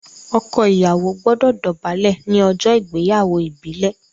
ọkọ Ìyàwó gbódò dobale ní ojó ìgbéyàwó ìbílè.